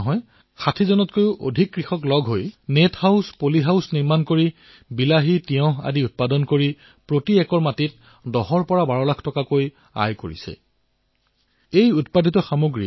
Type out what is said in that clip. এয়াই নহয় এইখন গাঁৱৰে ৬০তকৈও অধিক কৃষকে নেট হাউচ বনাই পলী হাউচ বনাই বিলাহী তিয়ঁহ ছিমলা জলকীয়াৰ বিভিন্নটা প্ৰকাৰ উৎপাদন কৰি প্ৰতি বছৰে ১০ লাখ টকাৰ পৰা ১২ লাখ টকা উপাৰ্জন কৰি আছে